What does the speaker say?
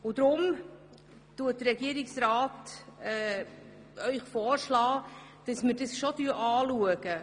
Deshalb schlägt Ihnen der Regierungsrat vor, das Instrument genauer anzuschauen.